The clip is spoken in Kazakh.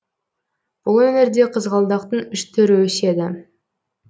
бұл өңірде қызғалдақтың үш түрі өседі